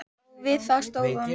Og við það stóð hún.